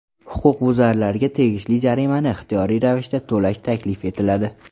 Huquqbuzarlarga tegishli jarimani ixtiyoriy ravishda to‘lash taklif etiladi.